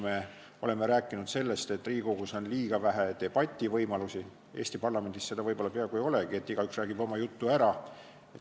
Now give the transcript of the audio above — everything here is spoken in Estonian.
Me oleme rääkinud sellest, et Riigikogus on liiga vähe debativõimalusi, neid võib-olla peaaegu ei olegi, lihtsalt igaüks räägib oma jutu ära.